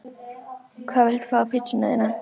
Hvað viltu fá á pizzuna þína?